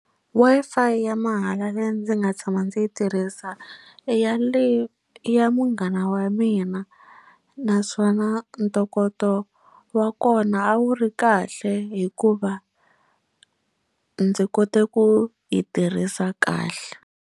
Wi-Fi ya mahala leyi ndzi nga tshama ndzi yi tirhisa i ya le i ya munghana wa mina naswona ntokoto wa kona a wu ri kahle hikuva ndzi kote ku yi tirhisa kahle.